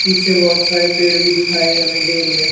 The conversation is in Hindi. पीछे बहोत सारे पेड़ भी दिखाई हमें दे रहे हैं।